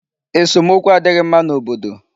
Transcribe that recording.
Esomokwu adịghị mma n'obodo.